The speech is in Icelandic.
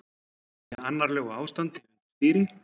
Í annarlegu ástandi undir stýri